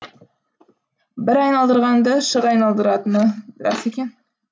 бір айналдырғанды шыр айналдыратыны рас екен